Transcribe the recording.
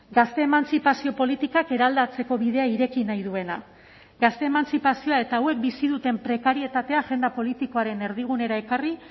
gazte emantzipazio politikak eraldatzeko bidea ireki nahi duena gazte emantzipazioa eta hauek bizi duten prekarietatea agenda politikoaren erdigunera ekarri